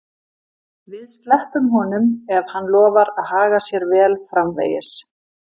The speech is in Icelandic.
Við sleppum honum ef hann lofar að haga sér vel framvegis.